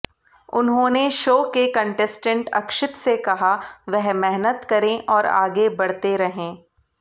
उन्होंने शो के कंटेस्टेंट अक्षित से कहा वह मेहनत करें और आगे बढ़ते रहें